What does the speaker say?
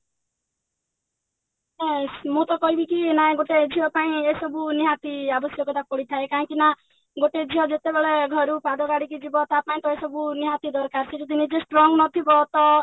ନା ମୁଁ ତ କହିବି କି ନା ଗୋଟେ ଝିଅ ପାଇଁକି ଏସବୁ ନିହାତି ଆବଶ୍ୟକତା ପଡିଥାଏ ନା ଗୋଟେ ଝିଅ ଯେତେବେଳେ ଘରୁ ପାଦ କାଢିକି ଜୀବ ତା ପାଇଁ ତ ଏସବୁ ନିହାତି ଦରକାର ସେ ଯଦି ନିଜେ strong ନଥିବ ତ